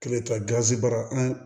Kelen ta gazi baara an